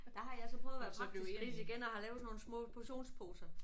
Der har jeg så prøvet at være praktisk gris igen og har lavet sådan nogle små portionsposer